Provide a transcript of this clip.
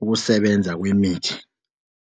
ukusebenza kwemithi.